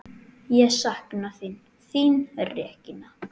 Ég sakna þín, þín Regína.